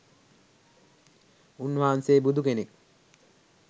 උන්වහන්සේ බුදු කෙනෙක්